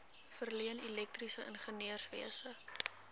verleen elektriese ingenieurswese